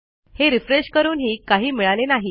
हे रिफ्रेश करूनही काही मिळाले नाही